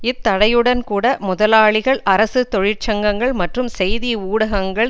இத்தடையுடன் கூட முதலாளிகள் அரசு தொழிற்சங்கங்கள் மற்றும் செய்தி ஊடகங்கள்